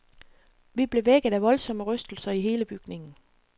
Vi blev vækket af voldsomme rystelser i hele bygningen.